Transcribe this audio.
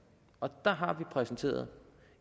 og der har vi præsenteret